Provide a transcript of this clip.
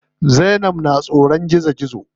Zainab na tsoron gizo.